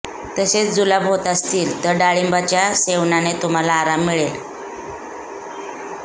तसेच जुलाब होत असतील तर डाळिंबाच्या सेवनाने तुम्हाला आराम मिळेल